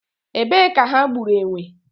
Ebe ka ha gburu enwe?